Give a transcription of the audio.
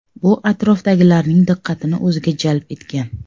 Bu atrofdagilarning diqqatini o‘ziga jalb etgan.